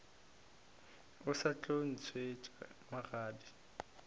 o sa tlo ntšhetšwa magadi